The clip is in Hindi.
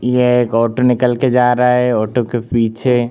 यहाँ एक ऑटो निकल के जा रहा है ऑटो के पीछे --